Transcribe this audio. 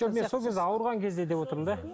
жоқ мен сол кезде ауырған кезде деп отырмын да